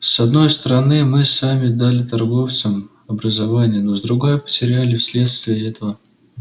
с одной стороны мы сами дали торговцам образование но с другой потеряли вследствие этого